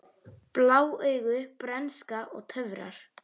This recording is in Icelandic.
Blá augu, bernska og töfrar